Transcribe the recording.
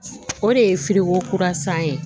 O de ye kura san ye